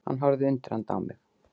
Hann horfði undrandi á mig.